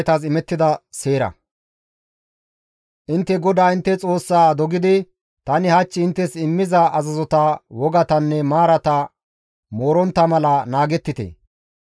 Intte GODAA intte Xoossaa dogidi tani hach inttes immiza azazota, wogatanne maarata moorontta mala naagettite.